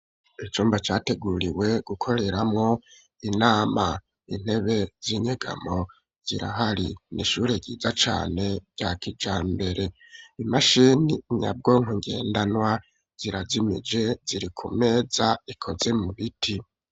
Icumba categuriwe gukoreramwo inama intebe z'inyegamo zirahari n'ishure ryiza cane bya kijambere imashini nyabwonko ngendanwa zira zimije ziri ku meza ikoze mu biti.